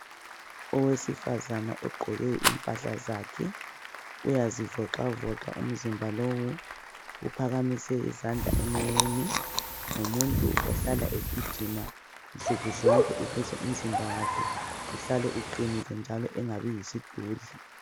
Owesifazana ugqoke impahla zakhe uyazivoxavoxa umzimba lowu. Uphakamise izandla emoyeni, ngumuntu ohlala egijima nsuku zonke ukuze umzimba wakhe uhlale uqinile njalo engabi yisidudla.